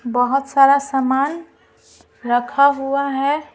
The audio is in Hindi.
बहुत सारा सामान रखा हुआ है ।